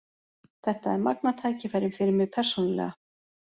Þetta er magnað tækifæri fyrir mig persónulega.